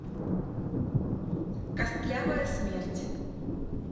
костлявая смерть